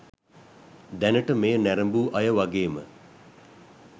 දැනට මෙය නැරඹූ අය වගේම